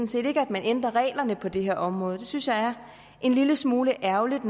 set ikke at man ændrer reglerne på det her område det synes jeg er en lille smule ærgerligt